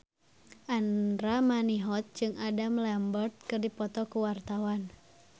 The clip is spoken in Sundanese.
Andra Manihot jeung Adam Lambert keur dipoto ku wartawan